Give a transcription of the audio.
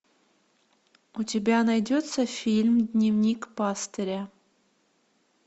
у тебя найдется фильм дневник пастыря